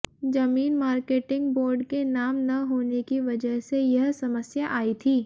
जमीन marketing board के नाम न होने की वजह से यह समस्या आई थी